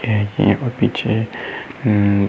यहाँ पर पीछे अम्म --